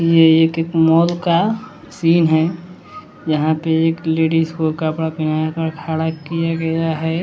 ये एक मॉल का सीन है यहाँ पे एक लेडिस को कपड़ा पेहना कर खड़ा किया गया है।